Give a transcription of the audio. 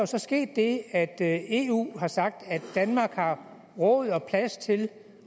så sket det at at eu har sagt at danmark har råd og plads til